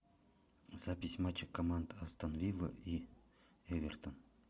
запись матча команд астон вилла и эвертон